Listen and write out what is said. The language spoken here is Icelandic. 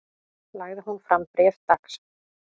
Lagði hún fram bréf dags